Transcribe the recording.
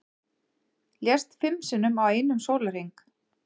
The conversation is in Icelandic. Lést fimm sinnum á einum sólarhring